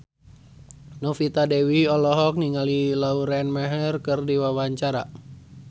Novita Dewi olohok ningali Lauren Maher keur diwawancara